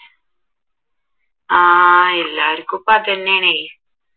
ആഹ് എല്ലാവർക്കും ഇപ്പ അതെന്നേണേ